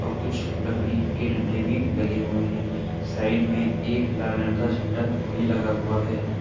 और कुछ लकड़ी के डंडे भी लगे हुए हैं। साइड में एक लाल रंग का झण्डा भी लगा हुआ है।